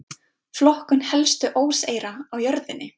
Flokkun helstu óseyra á jörðinni.